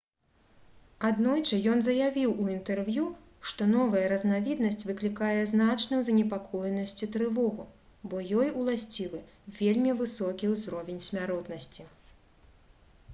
аднойчы ён заявіў у інтэрв'ю што новая разнавіднасць «выклікае значную занепакоенасць і трывогу бо ёй уласцівы вельмі высокі ўзровень смяротнасці»